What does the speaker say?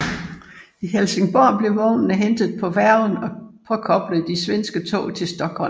I Helsingborg blev vognene hentet på færgen og påkoblede de svenske tog til Stockholm